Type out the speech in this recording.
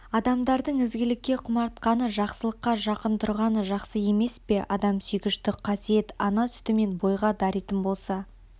адамдардың ізгілікке құмартқаны жақсылыққа жақын тұрғаны жақсы емес пе адамсүйгіштік қасиет ана сүтімен бойға даритын болса